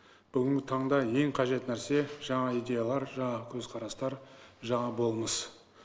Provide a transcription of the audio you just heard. бүгінгі таңда ең қажет нәрсе жаңа идеялар жаңа көзқарастар жаңа болмыс